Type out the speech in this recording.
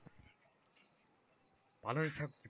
পালং শাক,